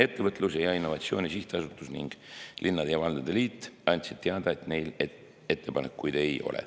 Ettevõtluse ja Innovatsiooni Sihtasutus ning Eesti Linnade ja Valdade Liit andsid teada, et neil ei ole ettepanekuid.